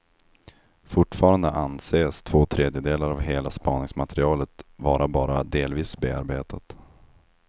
Fortfarande anses två tredjedelar av hela spaningsmaterialet vara bara delvis bearbetat.